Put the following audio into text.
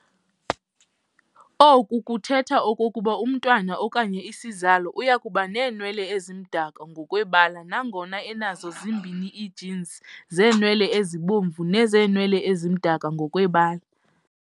Oku kuthetha okokuba umntwana okanye isizalo uyakubaneenwele ezimdaka ngokwebala nangona enazo zombini ii-genes zeenwele ezibomvu nezeenwele ezimdaka ngokwebala.